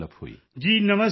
ਅਮਲਾਨ ਜੀ ਨਮਸਕਾਰ ਸਰ